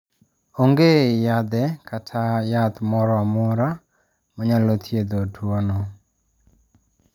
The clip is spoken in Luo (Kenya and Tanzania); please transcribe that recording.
Onge yadhe kata yath moro amora manyalo thiedho tuwono.